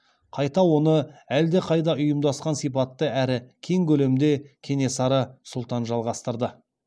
қайта оны әлдеқайда ұйымдасқан сипатта әрі кең көлемде кенесары сұлтан жалғастырды